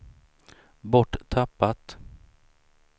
borttappat